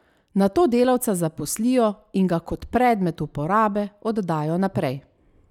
Nato delavca zaposlijo in ga kot predmet uporabe oddajo naprej.